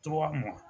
Tɔgɔ mɔ